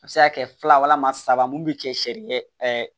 A bɛ se ka kɛ fila walama saba mun bɛ kɛ sariya